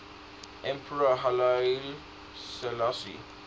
emperor haile selassie